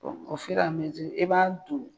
i b'a don.